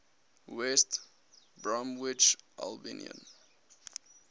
west bromwich albion